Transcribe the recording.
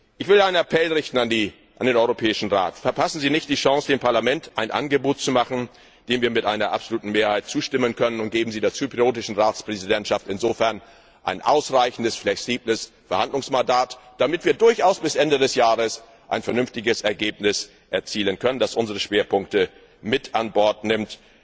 Ich will einen Appell an den Europäischen Rat richten Verpassen Sie nicht die Chance, dem Parlament ein Angebot zu machen, dem wir mit einer absoluten Mehrheit zustimmen können, und geben Sie der zyprischen Ratspräsidentschaft insofern ein ausreichendes, flexibles Verhandlungsmandat, damit wir durchaus bis Ende des Jahres ein vernünftiges Ergebnis erzielen können, das unsere Schwerpunkte mit an Bord nimmt.